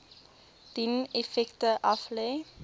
dien effekte aflê